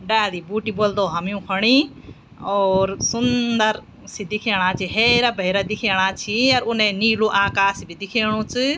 डाली बूटी बुल्दो हम युखुणी और सुंदर सी दिखेणा छि हैरा भैरा दिखेना छि और उने नीलू आकाश भी दिखेणु च।